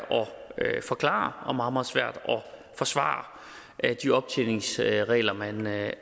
at forklare og meget meget svært at forsvare de optjeningsregler man har jeg